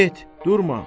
Get, durma.